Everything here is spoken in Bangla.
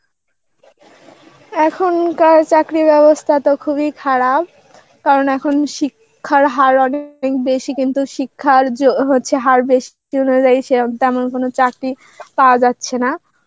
এখনকার চাকরির ব্যবস্থা তো খুবই খারাপ. কারণ এখন শিক্ষার হার অনেক বেশি কিন্তু শিক্ষার য~ হচ্ছে হার বেশি অনুযায়ী সের~ তেমন কোনো চাকরি পাওয়া যাচ্ছে না.